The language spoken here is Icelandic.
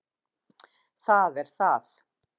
Það er það